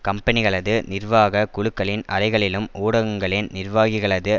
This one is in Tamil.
கம்பெனிகளது நிர்வாக குழுக்களின் அறைகளிலும் ஊடகங்களின் நிர்வாகிகளது